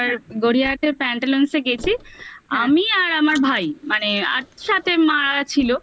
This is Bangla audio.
তো এবার গড়িয়াতে প্যান্টালুনসে গেছি আমি আর আমার ভাই মানে মা ছিল